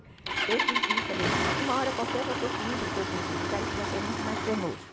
Então eu quis ir e falei, uma hora qualquer eu vou ter que ir para todos esses lugares e vai ser muito mais penoso.